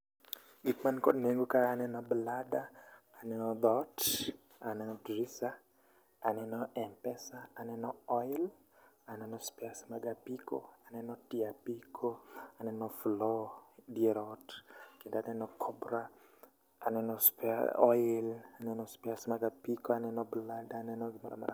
Gik man kod nengo ka aneno blada, aneno dhot, aneno drisa, aneno Mpesa, aneno oil, aneno spares mag apiko, aneno tie apiko, aneno floor, dier ot. Kendo aneno cobra, aneno spare oil, aneno spares mag apiko, aneno blada, aneno gimoramora.